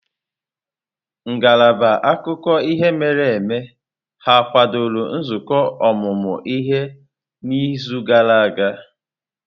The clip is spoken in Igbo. Ngalaba akụkọ ihe mere eme ha kwadoro nzukọ ọmụmụ ihe n'izu gara aga?